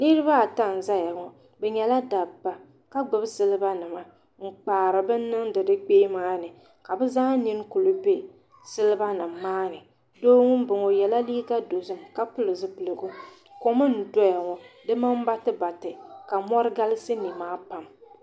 Niraba ata n ʒɛya ŋo bi nyɛla dabba ka gbubi silba nima n kpaari bini niŋdi di kpee maa ni ka bi zaa nin kuli bɛ silba nim maa ni doo n boŋo o yɛla liiga dozim ka pili zipiligu kom n doya la di mini batibati ka mori galisi nimaa pam